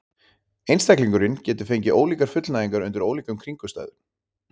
Einstaklingurinn getur fengið ólíkar fullnægingar undir ólíkum kringumstæðum.